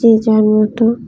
যে যার মতো--